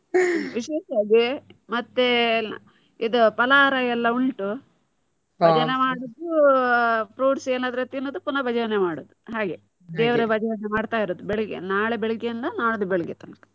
ವಿಶೇಷ ಅದೇ ಮತ್ತೆ ಇದು ಫಲಹಾರ ಎಲ್ಲಾ ಉಂಟು. ಭಜನೆ ಮಾಡುದು fruits ಏನಾದ್ರೂ ತಿನ್ನುದು, ಪುನ ಭಜನೆ ಮಾಡುದು. ಹಾಗೆ ದೇವ್ರ ಭಜನೆ ಮಾಡ್ತಾ ಇರುದು ಬೆಳಿಗ್ಗೆ, ನಾಳೆ ಬೆಳಿಗ್ಗೆಯಿಂದ ನಾಡ್ದು ಬೆಳಿಗ್ಗೆ ತನಕ.